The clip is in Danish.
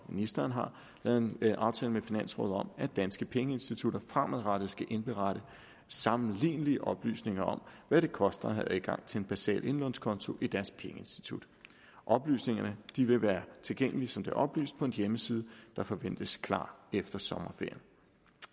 ministeren har lavet en aftale med finansrådet om at danske pengeinstitutter fremadrettet skal indberette sammenlignelige oplysninger om hvad det koster at have adgang til en basal indlånskonto i deres pengeinstitut oplysningerne vil være tilgængelige som det er oplyst på en hjemmeside der forventes klar efter sommerferien